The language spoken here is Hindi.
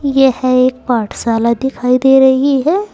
यह एक पाठशाला दिखाई दे रही है।